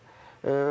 Üçü də üçü.